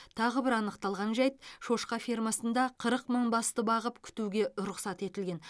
тағы бір анықталған жайт шошқа фермасында қырық мың басты бағып күтуге рұқсат етілген